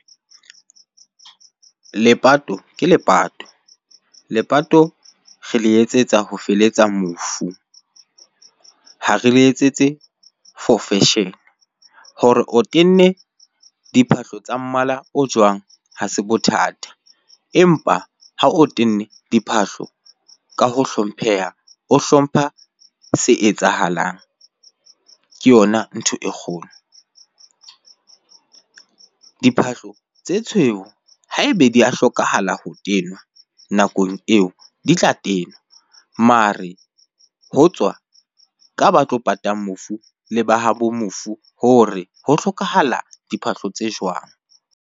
Lepato ke lepato. Lepato re le etsetsa ho feletsa mofu, ha re le etsetse for fashion. Hore o tenne diphahlo tsa mmala o jwang, ha se bothata. Empa ha o tenne diphahlo ka ho hlompheha, o hlompha se etsahalang, ke yona ntho e kgolo. Diphahlo tse tshweu ha ebe di a hlokahala ho tenwa nakong eo di tla tenwa, mare ho tswa ka ba tlo pata mofu le ba habo mofu hore ho hlokahala diphahlo tse jwang?